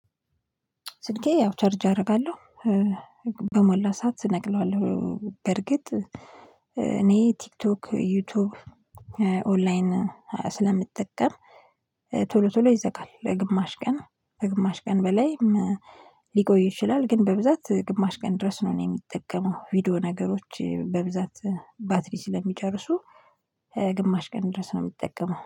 ስልኬ ያው ቻርጅ አደርጋለሁ በሞላ ሰዓት እነቅለዋለሁ በርግጥ እኔ ቲክቶክ ዩቲዩብ ኦንላይን ስለምጠቀም ቶሎ ቶሎ ይዘጋል ለግማሽ ቀን ለግማሽ ቀን በላይም ሊቆይ ይችላል ግን በብዛት ግማሽ ቀን ድረስ ነው እኔ የምጠቀመው። ቪዲዮ ነገሮች በብዛት ባትሪ ስለሚጨርሱ ግማሽ ቀን ድረስ ነው የምጠቀመው።